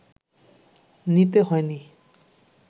নিতে হয়নি